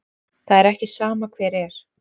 Það er ekki sama hver er.